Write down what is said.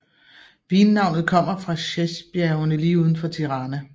Vinnavnet kommer fra Sheshbjergene lige uden for Tirana